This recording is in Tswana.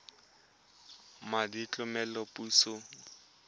madi a tlamelo a puso